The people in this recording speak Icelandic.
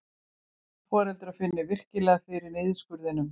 Foreldrar finni virkilega fyrir niðurskurðinum